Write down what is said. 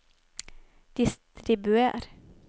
distribuer